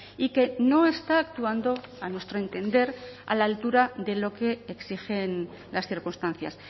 y que no está actuando a nuestro entender a la altura de lo que exigen las circunstancias